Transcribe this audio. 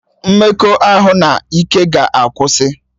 Mmekọahụ n'ike ga akwụsị